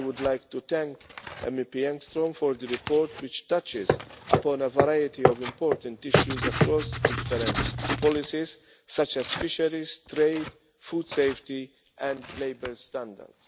Engström. I would like to thank MEP Engström for the report, which touches upon a variety of important issues across different policies such as fisheries, trade, food safety and labour standards.